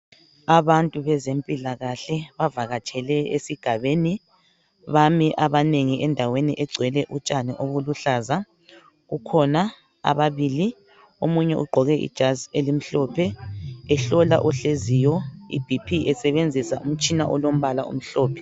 abantu bezempilakahle bavakatshele esigabeni bami abanengi endaweni okugcwele utshani olubuhlaza kukhona ababili omunye ugqoke ijazi elimhlophe ehlola ohleziyo i BP esebenzisa umtshina olompala omhlophe